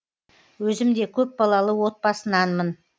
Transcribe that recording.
өзім де көпбалалы отбасынанмын